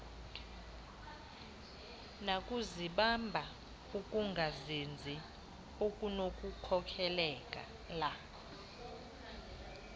nakuzibamba ukungazinzi okunokukhokelela